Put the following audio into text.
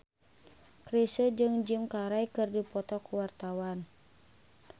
Chrisye jeung Jim Carey keur dipoto ku wartawan